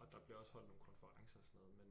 Og der bliver også holdt nogle konferencer og sådan noget men